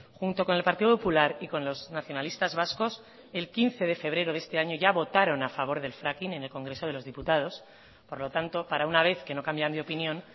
junto con el partido popular y con los nacionalistas vascos el quince de febrero de este año ya votaron a favor del fracking en el congreso de los diputados por lo tanto para una vez que no cambian de opinión